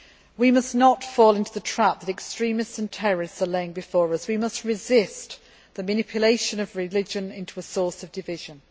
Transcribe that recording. We must not fall into the trap that extremists and terrorists are laying for us we must resist the manipulation of religion into a source of division.